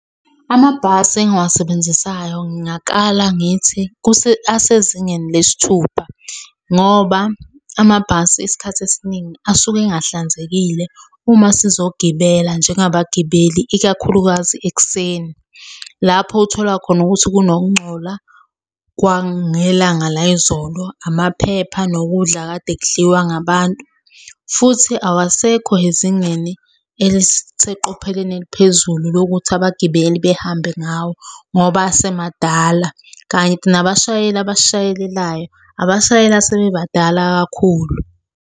Amabhasi engiwasebenzisayo ngingakala ngithi asezingeni lesithupha, ngoba amabhasi isikhathi esiningi asuke engahlanzekile uma sizogibela njengabagibeli, ikakhulukazi ekuseni. Lapho othola khona ukuthi kunokungcola kwangelanga layizolo, amaphepha nokudla kade kudliwa ngabantu, futhi awasekho ezingeni eliseqopheleni eliphezulu lokuthi abagibeli behambe ngawo ngoba asemadala, kanti nabashayeli abasishayelelayo abashayeli asebebadala kakhulu.